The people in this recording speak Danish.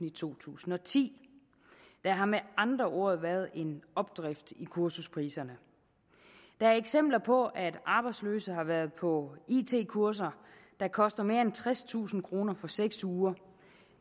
i to tusind og ti der har med andre ord været en opdrift i kursuspriserne der er eksempler på at arbejdsløse har været på it kurser der koster mere end tredstusind kroner for seks uger